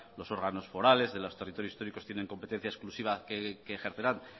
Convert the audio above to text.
los órganos forales de los territorios históricos tienen competencia exclusiva que ejercerán